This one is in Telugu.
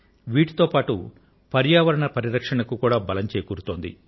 వీటితో పాటు పర్యావరణ పరిరక్షణకు కూడా బలం చేకూరుతోంది